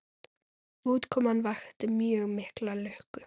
Útkoman vakti mjög mikla lukku.